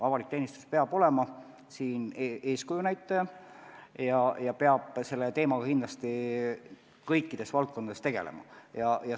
Avalik teenistus peab olema eeskuju näitaja ja peab selle teemaga kindlasti kõikides valdkondades tegelema.